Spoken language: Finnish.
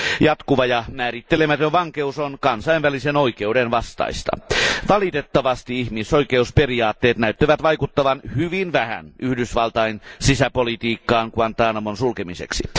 Jatkuva ja määrittelemätön vankeus on kansainvälisen oikeuden vastaista. Valitettavasti ihmisoikeusperiaatteet näyttävät vaikuttavan hyvin vähän Yhdysvaltain sisäpolitiikkaan Guantánamon sulkemiseksi.